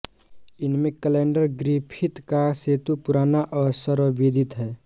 इनमें कैलेंडरग्रिफिथ का सेतु पुराना और सर्वविदित है